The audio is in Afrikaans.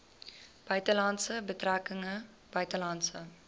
buitelandse betrekkinge buitelandse